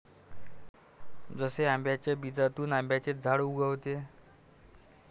जसे आंब्याच्या बीजातून आंब्याचेच झाड उगवते.